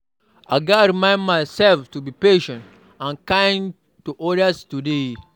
I gats remind myself to be patient and kind to odas today.